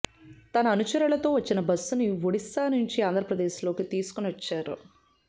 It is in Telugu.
తన అనుచరులతో వచ్చిన బస్సును ఒడిశా నుంచి ఆంధ్రప్రదేశ్ లోకి తీసుకుని వచ్చారు